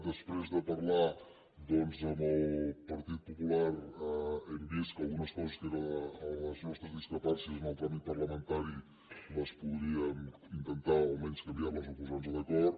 després de parlar doncs amb el partit popular hem vist que algunes coses que eren les nostres discrepàncies en el tràmit parlamentari les podríem intentar almenys canviar o posar nos d’acord